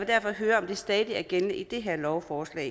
derfor høre om det stadig er gældende i det her lovforslag